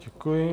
Děkuji.